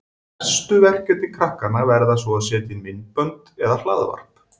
Næstu verkefni krakkanna verða svo að setja inn myndbönd eða hlaðvarp.